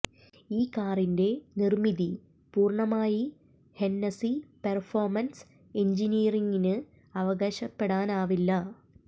ഈ കാറിന്റെ നിര്മിതി പൂര്ണമായി ഹെന്നസി പെര്ഫോമന്സ് എന്ജിനീയറിംഗിന് അവകാശപ്പെടാനാവില്ല